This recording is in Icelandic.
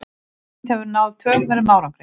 Ísland hefur náð töluverðum árangri